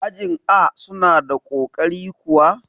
ajin A suna da ƙoƙari kuwa?